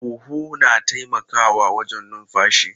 Huhu na taimakawa wajen numfashi.